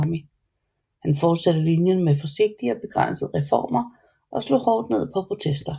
Han fortsatte linjen med forsigtige og begrænsede reformer og slog hårdt ned på protester